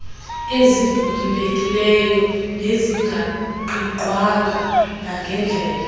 ezivulekileyo nezingaqigqwanga nangendlela